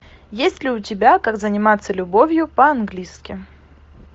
есть ли у тебя как заниматься любовью по английски